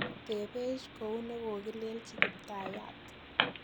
Tebech kou negogilelich Kitayaat.